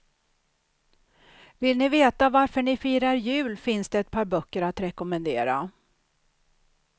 Vill ni veta varför ni firar jul finns det ett par böcker att rekommendera.